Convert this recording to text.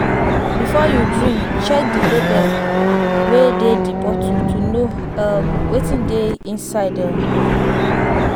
Before you drink, check di label wey dey di bottle to know um wetin dey inside um